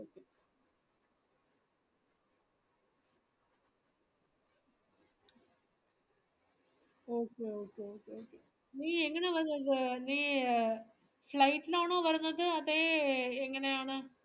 okay okay okay നീ എങ്ങനാ വരുന്നത് നീ flight ലാണോ വരുന്നത് അതേ എങ്ങനാണ്